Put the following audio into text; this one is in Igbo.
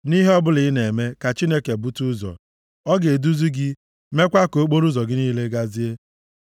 Nʼihe ọbụla ị na-eme, ka Chineke bute ụzọ, ọ ga-eduzi gị, meekwa ka okporoụzọ gị niile gazie.